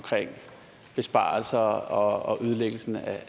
besparelser og ødelæggelsen af